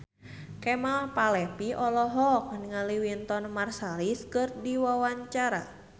Kemal Palevi olohok ningali Wynton Marsalis keur diwawancara